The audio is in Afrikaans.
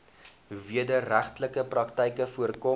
wederregtelike praktyke voorkom